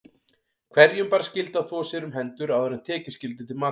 Hverjum bar skylda að þvo sér um hendur áður en tekið skyldi til matar.